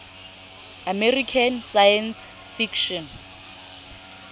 american science fiction